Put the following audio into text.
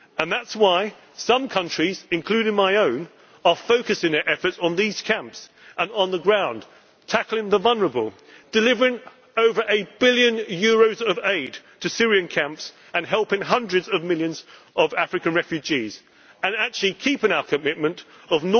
our shores. That is why some countries, including my own, are focusing their efforts on these camps and on the ground, tackling the vulnerable, delivering over a billion euros of aid to Syrian camps, helping hundreds of millions of African refugees and actually keeping our commitment